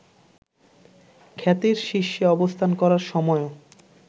খ্যাতির শীর্ষে অবস্থান করার সময়ও